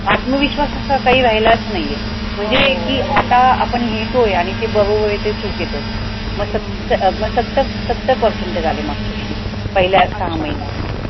आत्मविश्वास असा काही राहिलाच नाही म्हणजे की आता आपण लिहितोय आणि ते बरोबर आहे ते चूक येतं मग सत्तर मग सत्तर सत्तर percentage आले मग मागच्या वर्षी पहिल्या सहा महिन्यात